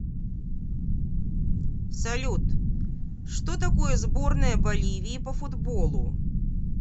салют что такое сборная боливии по футболу